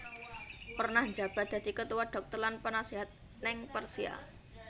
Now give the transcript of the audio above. Pernah njabat dadi ketua dhokter lan penaséhat ning Persia